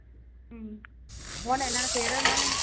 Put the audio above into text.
ਹਮ ਹੁਣ ਇਨ੍ਹਾਂ ਨੇ ਫੇਰ ਉਨ੍ਹਾਂ ਨੇ